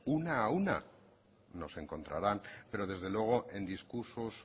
una a una nos encontrarán pero desde luego en discursos